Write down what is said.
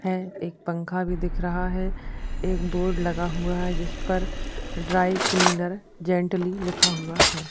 हैं। एक पंखा भी दिख रहा है एक बोर्ड लगा हुआ है जिस पर ड्राई क्लीनर जेंटली लिखा हुआ है।